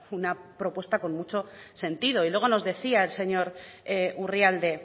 una propuesta con mucho sentido y luego nos decía el señor urrialde